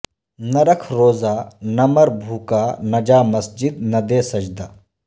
نہ رکھ روزہ نہ مر بھوکا نہ جا مسجد نہ دے سجدہ